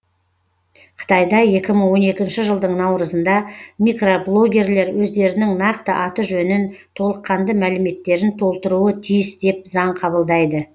қытайда екі мың он екінші жылдың наурызында микроблогерлер өздерінің нақты аты жөнін толыққанды мәліметтерін толтыруы тиіс деп заң қабылдайды